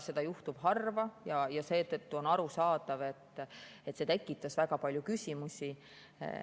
Seda juhtub harva ja seetõttu on arusaadav, et see tekitas väga palju küsimusi.